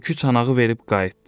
Tülkü çanağı verib qayıtdı.